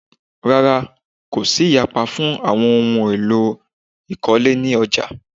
Rárá, kò sí ìyapa fún àwọn ohun ohun èlò ìkọ́lé ní ọjà.